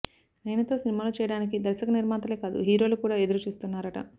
నయనతో సినిమాలు చేయడానికి దర్శక నిర్మాతలే కాదు హీరోలు కూడా ఎదురు చూస్తున్నారట